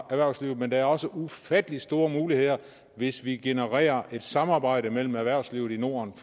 erhvervslivet men der er også ufattelig store muligheder hvis vi genererer et samarbejde mellem erhvervslivet i norden